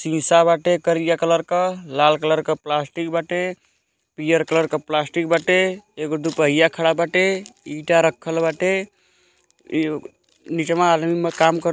शीशा बाटे करिया कलर क लाल कलर क प्लास्टिक बाटे पियर कलर क प्लास्टिक बाटे एगो दुपहिया खड़ा बाटे ईटा रखल बाटे नीचवा आदमी में काम --